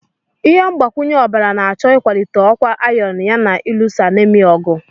Ihe mgbakwunye ọbara na-achọ ịkwalite ọkwa iron yana ịlụso anaemia ọgụ.